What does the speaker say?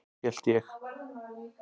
Hélt ég.